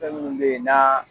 Fɛn minnu bɛ yen n'a